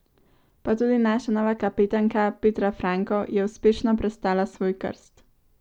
Pa tudi naša nova kapetanka, Petra Franko, je uspešno prestala svoj krst.